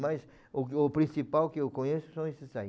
Mas o que o principal que eu conheço são esses aí.